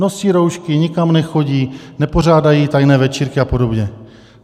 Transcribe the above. Nosí roušky, nikam nechodí, nepořádají tajné večírky a podobně.